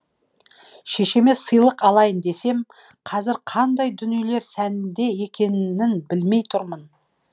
шешеме сыйлық алайын десем қазір қандай дүниелер сәнде екенінбілмей тұрмын